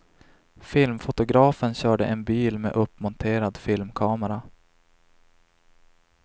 Filmfotografen körde en bil med uppmonterad filmkamera.